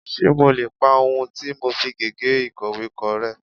Ṣé mo lè pa ohun tí mo fi gègé ìkọ̀wé kọ rẹ́.?